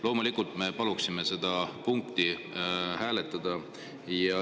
Loomulikult me paluksime seda punkti hääletada.